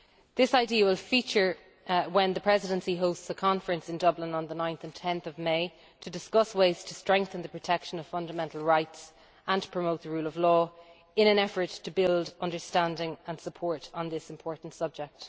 This idea will feature when the Presidency hosts a conference in Dublin on 9 and 10 May to discuss ways to strengthen the protection of fundamental rights and promote the rule of law, in an effort to build understanding and support on this important subject.